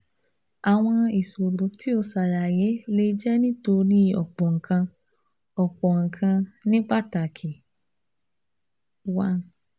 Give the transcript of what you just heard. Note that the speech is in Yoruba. Àwọn ìṣòro tí o ṣàlàyé lè jẹ́ nítorí ọ̀pọ̀ nǹkan, ọ̀pọ̀ nǹkan, ní pàtàkì one